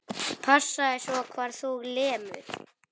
Passaðu svo hvar þú lemur.